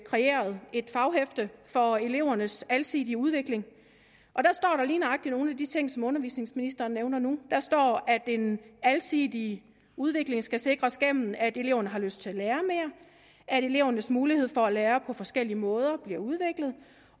kreeret et faghæfte for elevernes alsidige udvikling og der står der lige nøjagtig nogle af de ting som undervisningsministeren nævnte nu der står at en alsidig udvikling skal sikres gennem at eleverne har lyst til at lære mere at elevernes mulighed for at lære på forskellige måder bliver udviklet